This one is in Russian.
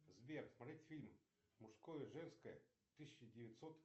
сбер смотреть фильм мужское женское тысяча девятьсот